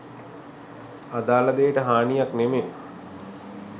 අදාල දේට හානියක් නෙමේ